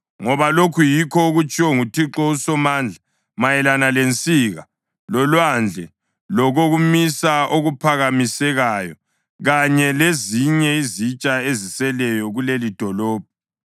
Ngoba lokhu yikho okutshiwo nguThixo uSomandla mayelana lensika, loLwandle, lokokumisa okuphakamisekayo kanye lezinye izitsha eziseleyo kulelidolobho,